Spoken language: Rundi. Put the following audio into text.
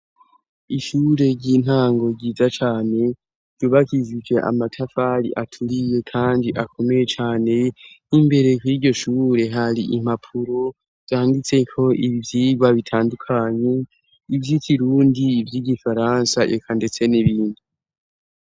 Ishure ry'intango ryiza cane dubagizije amatafari aturiye, kandi akomeye cane 'imbere kiryo shuure hari impapuro vyangitse ko ibivyirwa bitandukanye ivyoiti rundi vy' igifaransa yeka, ndetse n'ibindi.